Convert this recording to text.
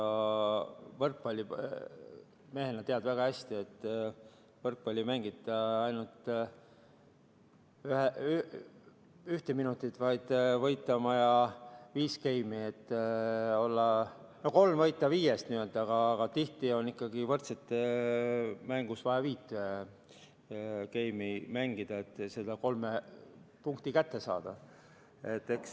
Sa võrkpallimehena tead väga hästi, et võrkpalli ei mängita ainult üks minut, vaid võita on vaja viis geimi, või no tuleb võita kolm viiest, aga tihti on võrdsete mängus vaja viis geimi mängida, et kolme punkti kätte saada.